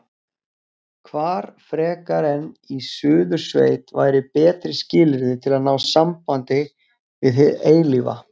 Hvar frekar en í Suðursveit væru betri skilyrði til að ná sambandi við hið eilífa?